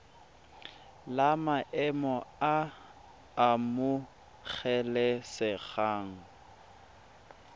la maemo a a amogelesegang